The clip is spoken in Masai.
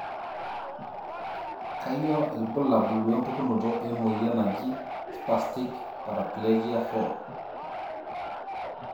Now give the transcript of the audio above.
Kanyio ibulabul wempukunoto emoyian naji Spastic paraplegia 4?